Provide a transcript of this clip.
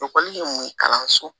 Ekɔli ye mun ye kalanso